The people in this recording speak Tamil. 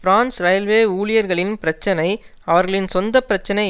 பிரான்ஸ் இரயில்வே ஊழியர்களின் பிரச்சனை அவர்களின் சொந்த பிரச்சனை